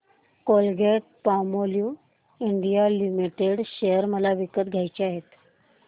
Colgate Palmolive India limited share मला विकत घ्यायचे आहेत